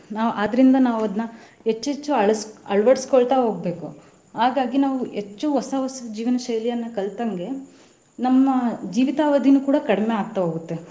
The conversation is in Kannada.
ನಾವ್ ಅದ್ರಿಂದ ನಾವ್ ಅದ್ನ ಹೆಚ್ಚೆಚ್ಚು ಅಳಸ~ ಅಳವಡಿಸ್ಕೊತಾ ಹೋಗ್ಬೇಕು ಹಾಗಾಗಿ ನಾವ್ ಹೆಚ್ಚು ಹೊಸ ಹೊಸ ಜೀವನ ಶೈಲಿಯನ್ನ ಕಲತಂಗೆ ನಮ್ಮ ಜೀವಿತಾವಧಿನು ಕೂಡಾ ಕಡಿಮೆ ಆಗ್ತಾ ಹೋಗುತ್ತೆ.